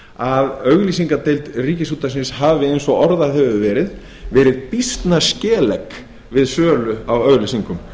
að auglýsingadeild ríkisútvarpsins hafi eins og orðað hefur verið verið býsna skelegg við sölu á auglýsingum